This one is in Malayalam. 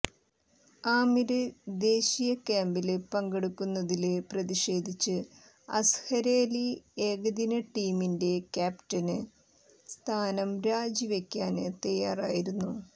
ആമിര് ദേശീയ ക്യാമ്പില് പങ്കെടുക്കുന്നതില് പ്രതിഷേധിച്ച് അസ്ഹര് അലി ഏകദിന ടീമിന്റെ ക്യാപ്റ്റന് സ്ഥാനം രാജിവെക്കാന് തയ്യാറായിരുന്നു